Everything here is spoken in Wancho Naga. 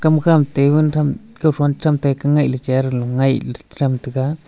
kam kha ma tebun tham kaufon cham tai ka ngailey chair lo ngailey che tham tai ga.